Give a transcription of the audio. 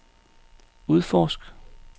udforsk